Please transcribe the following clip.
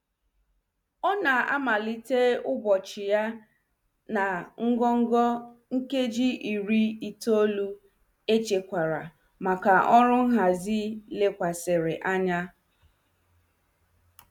Ọ na-amalite ụbọchị ya na ngọngọ nkeji iri itoolu echekwara maka ọrụ nhazi lekwasịrị anya.